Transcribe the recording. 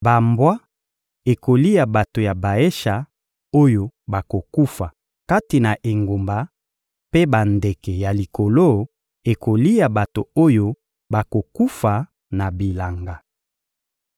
Bambwa ekolia bato ya Baesha oyo bakokufa kati na engumba mpe bandeke ya likolo ekolia bato oyo bakokufa na bilanga.»